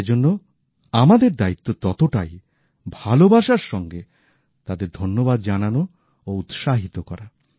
সেজন্য আমাদের দায়িত্ব ততটাই ভালোবাসার সঙ্গে তাদের ধন্যবাদ জানানো ও উৎসাহিত করা